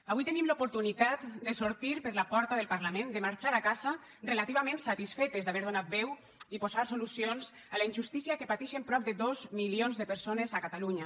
avui tenim l’oportunitat de sortir per la porta del parlament de marxar a casa relativament satisfetes d’haver donat veu i posat solucions a la injustícia que patixen prop de dos milions de persones a catalunya